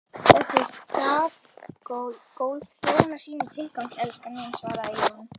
Þessi stafgólf þjóna sínum tilgangi, elskan mín, svaraði Jón.